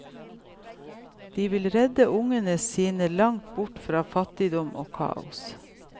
De ville redde ungene sine langt bort fra fattigdom og kaos.